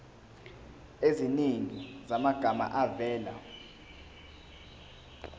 eziningi zamagama avela